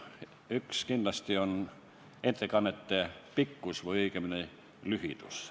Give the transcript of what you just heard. Üks on kindlasti ettekannete pikkus või õigemini lühidus.